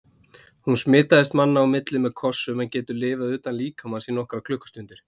Hún smitast manna á milli með kossum en getur lifað utan líkamans í nokkrar klukkustundir.